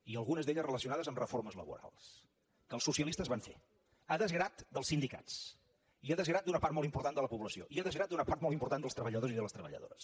i algunes relacionades amb reformes laborals que els socialistes van fer a desgrat dels sindicats i a desgrat d’una part molt important de la població i a desgrat d’una part molt important dels treballadors i de les treballadores